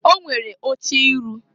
O nwere oche iru.